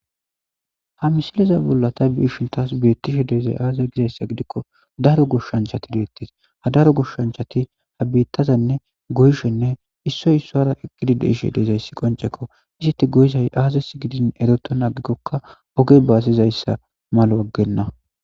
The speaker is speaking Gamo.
Ha misilezan bollan ta be'ishin tas betizays aze gidaysa gidiko daro goshachati de'etes ha daro goshachati bittaza goyishenee issoy isara eqidi dizayis qoniceko eti goyiza azase gidikoka eretina ixikika oge basidayisa malo agena